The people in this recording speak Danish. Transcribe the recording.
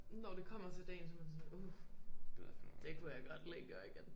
Når det kommer til dagen så man sådan uh det kunne jeg godt lige gøre igen